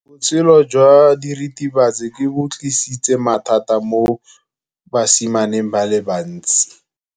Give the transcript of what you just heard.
Botshelo jwa diritibatsi ke bo tlisitse mathata mo basimaneng ba bantsi.